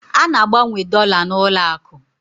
A na-agbanwe dọla n'ụlọakụ